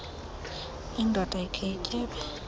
indoda ikhe ityebe